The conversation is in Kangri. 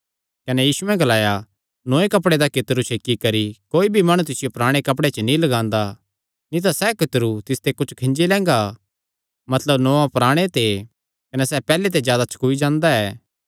कने यीशुयैं ग्लाया नौये कपड़े दा कितरू छेकी करी कोई भी माणु तिसियो पराणे कपड़े च नीं लगांदा नीं तां सैह़ कितरू तिसते कुच्छ खींजी लैंगा मतलब नौआं पराणे ते कने सैह़ पैहल्ले ते जादा छकूई जांदा ऐ